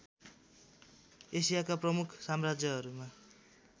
एसियाका प्रमुख साम्राज्यहरूमा